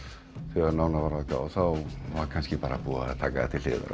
þegar nánar var að gáð var kannski bara búið að taka það til hliðar